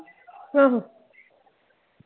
ਆਹੋ।